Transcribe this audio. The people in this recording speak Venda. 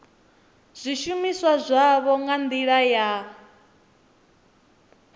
zwishumiswa zwavho nga ndila ya